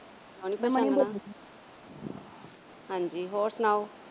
ਹਾਂ ਜੀ ਹੋਰ ਸੁਣਾਓ।